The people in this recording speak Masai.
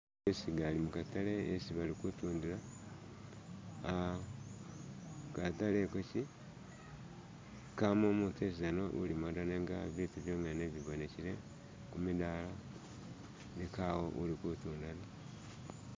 isigali mukatale isi balikutunda katale ikokyi kamu umutu yesizana ulimu nenga bitu byonyene niyo bibonekele kumidala nenga kawo ulikutunda da